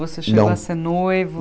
Você Não Chegou a ser noivo?